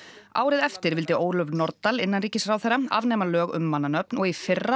árið eftir vildi Ólöf Nordal innanríkisráðherra afnema lög um mannanöfn og í fyrra